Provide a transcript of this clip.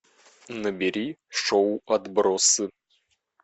набери шоу отбросы